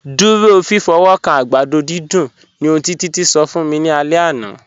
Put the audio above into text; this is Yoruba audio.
Dúró fífọ́wọ́kàn àgbàdọ̀ dídùn ni ọ̀hun tí Títí ṣọ̀ fún mí ní àlẹ̀ àná.